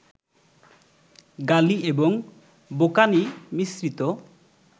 গালি এবং কোঁকানি মিশ্রিত